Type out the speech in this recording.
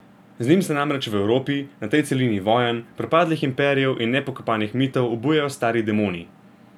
Z njim se namreč v Evropi, na tej celini vojn, propadlih imperijev in nepokopanih mitov, obujajo stari demoni.